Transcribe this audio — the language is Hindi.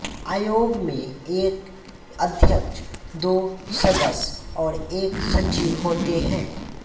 आयोग में एक अध्यक्ष दो सदस्य और एक सचिव होते हैं